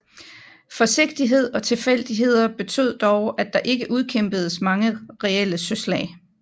Forsigtighed og tilfældigheder betød dog at der ikke udkæmpedes mange reelle søslag